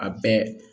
A bɛɛ